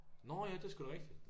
Nårh ja det er sgu da rigtigt